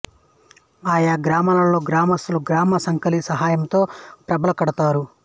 ఆయా గ్రామాల్లో గ్రామస్థులు గ్రామ కంసాలి సహాయంతో ప్రభలు కడతారు